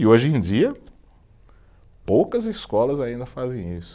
E hoje em dia poucas escolas ainda fazem isso.